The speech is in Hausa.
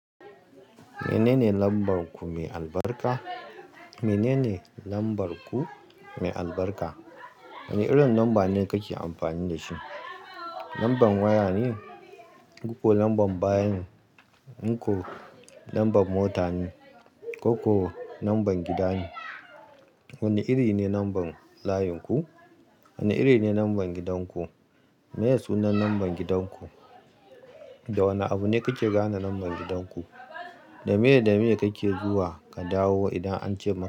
Menene lambar ku mai albarka? Menene lambar ku mai albarka? Wane irin lamba ne kake amfani da shi? Lambar waya ne, koko lambar bayan-- inko, lambar mota ne, koko lambar gida ne? Wane iri ne lambar layin ku? Wane iri ne lambar gidan ku? Me ya sunan lambar gidan ku? Da wane abu ne kake gane lambar gidan ku? Da meye da meye kake zuwa ka dawo idan an ce,